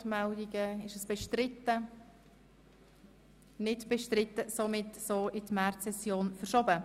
Mehr Transparenz für bessere Entscheidfindung!», in die Märzsession 2018 verschieben.